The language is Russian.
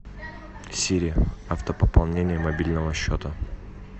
сири автопополнение мобильного счета